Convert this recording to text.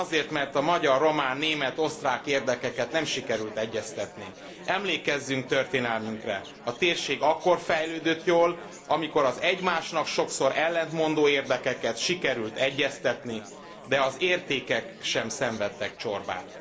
Talán azért, mert a magyar, román, német, osztrák érdekeket nem sikerült egyeztetni. Emlékezzünk történelmünkre. A térség akkor fejlődött jól, amikor az egymásnak sokszor ellentmondó érdekeket sikerült egyeztetni, de az értékek sem szenvedtek csorbát.